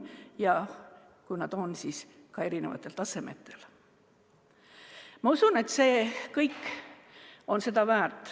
Ma usun, et see kõik on seda väärt, kui me õpime.